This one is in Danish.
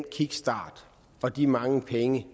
kickstarten og de mange penge